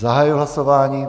Zahajuji hlasování.